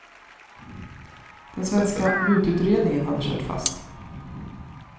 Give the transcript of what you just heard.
Den svenska mututredningen hade kört fast.